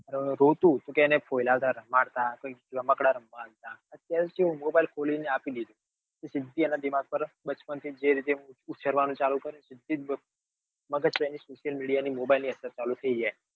રોતું કે એને ફોયાલાવતા રમાડતા કે રમકડા લઇ આપતા હવે કેવું mobile ખોલી ને આપી દે. તેથી તેના દિમાગ પર બચપણ થી જે રીતે ઉછેર કરવાનું ચાલુ કર્યું. મગજ social media ની અસર ચાલુ થઇ જાય.